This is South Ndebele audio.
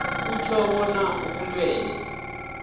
akutjho bona ubulwelwe